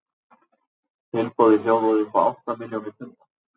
Tilboðið hljóðaði upp á átta milljónir punda.